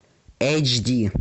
эйч ди